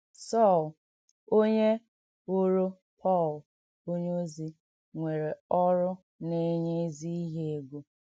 Sọl, ònyé ghòrò Pọl ònyeòzì, nwèrè ọ̀rụ́ nà-ènye ézì íhè ègò.